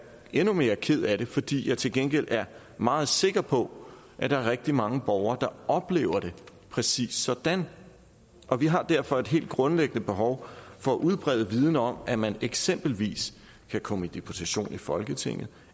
endnu mere ked af det fordi jeg til gengæld er meget sikker på at der er rigtig mange borgere der oplever det præcis sådan og vi har derfor et helt grundlæggende behov for at udbrede en viden om at man eksempelvis kan komme i deputation i folketinget og